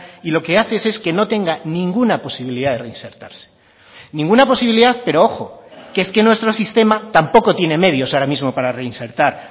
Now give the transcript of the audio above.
y lo que haces es que no tenga ninguna posibilidad de reinsertarse ninguna posibilidad pero ojo que es que nuestro sistema tampoco tiene medios ahora mismo para reinsertar